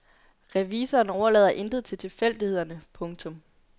Revisoren overlader intet til tilfældighederne. punktum